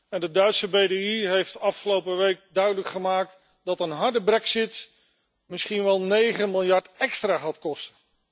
En de Duitse BDI heeft afgelopen week duidelijk gemaakt dat een harde brexit misschien wel 9 miljard extra gaat kosten.